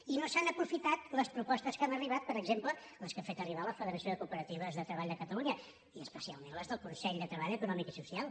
i no s’han aprofitat les propostes que han arribat per exemple les que ha fet arribar la federació de cooperatives de treball de catalunya i especialment les del consell de treball econòmic i social